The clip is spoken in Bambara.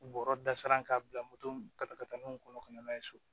Bɔrɔ dasiran k'a bila moto mun ka taa ka taa n'o kɔnɔ ka na n'a ye so